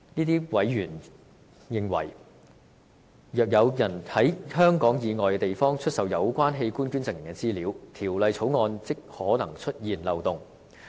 他們認為，若有人在香港以外地方出售有關器官捐贈人的資料，《條例草案》即可能出現漏洞。